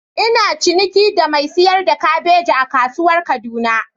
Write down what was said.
Ina ciniki da mai sayar da kabeji a kasuwar kaduna.